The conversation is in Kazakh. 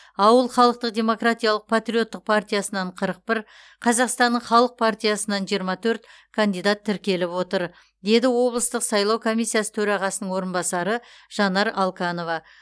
ауыл халықтық демократиялық патриоттық партиясынан қырық бір қазақстанның халық партиясынан жиырма төрт кандидат тіркеліп отыр деді облыстық сайлау комиссиясы төрағасының орынбасары жанар алканова